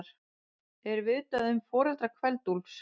Er vitað um foreldra Kveld-Úlfs?